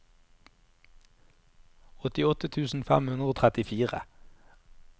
åttiåtte tusen fem hundre og trettifire